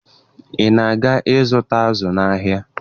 Ị na-aga ịzụta azụ n'ahịa?